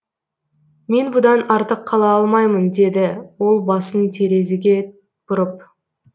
мен бұдан артық қала алмаймын деді ол басын терезеге бұрып